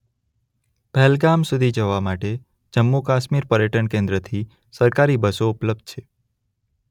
પહેલગામ સુધી જવા માટે જમ્મૂ કાશ્મીર પર્યટન કેન્દ્રથી સરકારી બસો ઉપલબ્ધ છે.